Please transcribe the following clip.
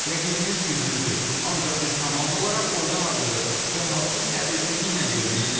Rəqibimiz güclüdür, ancaq biz komanda olaraq oyuna hazırıyıq və maçı səbirsizliklə gözləyirik.